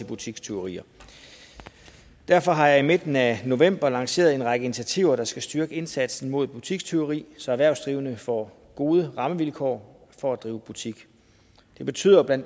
butikstyverier derfor har jeg i midten af november lanceret en række initiativer der skal styrke indsatsen mod butikstyveri så erhvervsdrivende får gode rammevilkår for at drive butik det betyder bla